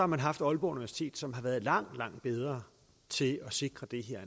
man haft aalborg universitet som har været langt langt bedre til at sikre det her